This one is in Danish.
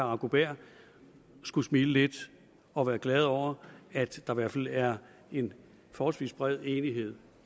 arbo bæhr skulle smile lidt og være glad over at der i hvert fald er en forholdsvis bred enighed